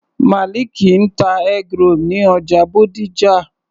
Maliki ń ta eggroll ní ọjà Bódìjà.